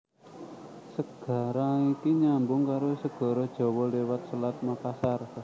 Segara iki nyambung karo Segara Jawa liwat Selat Makassar